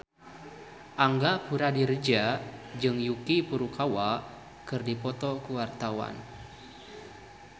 Angga Puradiredja jeung Yuki Furukawa keur dipoto ku wartawan